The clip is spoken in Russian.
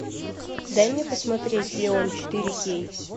дай мне посмотреть леон четыре кей